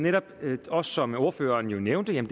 netop også som ordføreren nævnte en